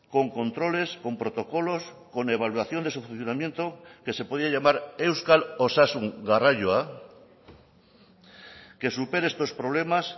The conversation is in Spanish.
con controles con protocolos con evaluación de su funcionamiento que se podía llamar euskal osasun garraioa que supere estos problemas